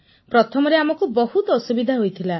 ପ୍ରଥମରେ ଆମକୁ ବହୁତ ଅସୁବିଧା ହୋଇଥିଲା